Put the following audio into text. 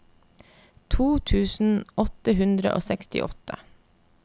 to tusen åtte hundre og sekstiåtte